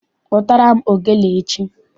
Kpụtara m ogene echi!